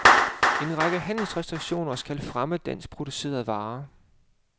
En række handelsrestriktioner skal fremme danskproducerede varer.